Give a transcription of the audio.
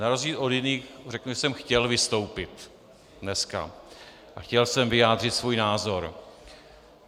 Na rozdíl od jiných řeknu, že jsem chtěl vystoupit dneska a chtěl jsem vyjádřit svůj názor.